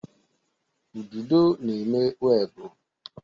Ududo na-eme webụ.